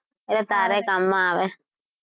એટલે તારે ય કામમાં આવે.